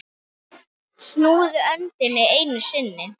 Snúðu öndinni einu sinni.